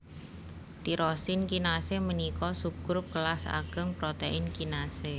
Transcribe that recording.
Tirosin kinasé ménika subgrup kélas agéng protèin kinasé